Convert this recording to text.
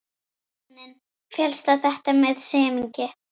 Baróninn féllst á þetta með semingi.